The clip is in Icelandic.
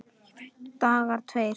Dagar tveir